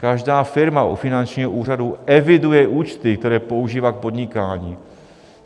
Každá firma u finančního úřadu eviduje účty, které používá k podnikání.